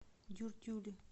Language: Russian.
дюртюли